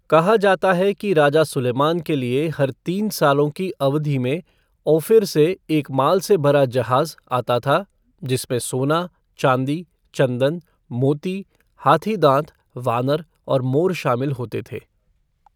कहा जाता है कि राजा सुलैमान के लिए हर तीन सालों की अवधि में ओफिर से एक माल से भरा जहाज़ आता था जिसमें सोना, चाँदी, चँदन, मोती, हाथी दाँत, वानर और मोर शामिल होते थे।